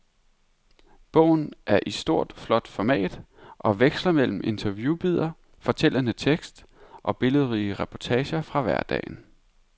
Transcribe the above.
Bogen er i stort, flot format og veksler mellem interviewbidder, fortællende tekst og billedrige reportager fra hverdagen.